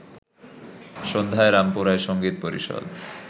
সন্ধ্যায় রামপুরার সঙ্গীত পরিষদ